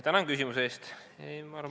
Tänan küsimuse eest!